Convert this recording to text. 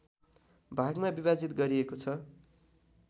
भागमा विभाजित गरिएको छ